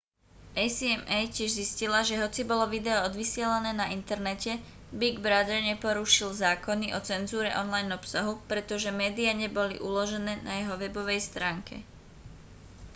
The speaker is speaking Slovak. acma tiež zistila že hoci bolo video odvysielané na internete big brother neporušil zákony o cenzúre online obsahu pretože médiá neboli uložené na jeho webovej stránke